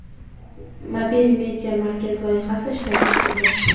Mobil media markaz loyihasi ishlab chiqildi.